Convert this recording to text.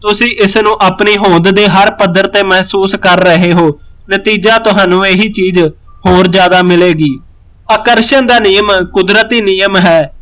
ਤੁਸੀਂ ਇਸਨੂੰ ਆਪਣੀ ਹੋਂਦ ਦੇ ਹਰ ਪੱਧਰ ਤੇ ਮਹਿਸੂਸ ਕਰ ਰਹੇ ਹੋ ਨਤੀਜਾ ਤਹਾਨੂੰ ਇਹੀ ਚੀਜ਼ ਹੋਰ ਜਿਆਦਾ ਮਿਲੇਗੀ ਆਕਰਸ਼ਣ ਦਾ ਨਿਯਮ ਕੁਦਰਤੀ ਨਿਯਮ ਹੈ